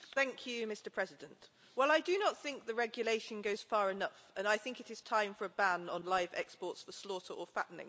Mr President, well I do not think the regulation goes far enough and I think it is time for a ban on live exports for slaughter or fattening.